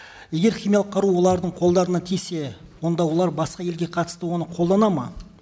егер химиялық қару олардың қолдарына тисе онда олар басқа елге қатысты оны қолданады ма